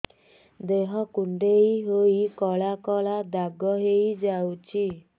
ଦେହ କୁଣ୍ଡେଇ ହେଇ କଳା କଳା ଦାଗ ହେଇଯାଉଛି